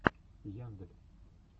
яндель